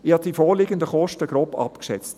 Ich habe die vorliegenden Kosten grob abgeschätzt.